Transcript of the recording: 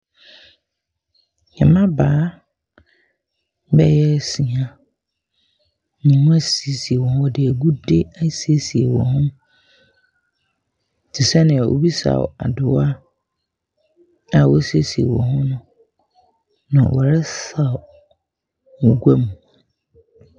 Mmabaawa bɛyɛ nsia. Wɔasisie wɔn ho, wɔde agude asiesie wɔn ho te sɛ deɛ obi saw adowa a wɔasieise wɔn ho. Na wɔresaw wɔ gua mu.